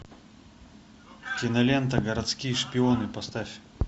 кинолента городские шпионы поставь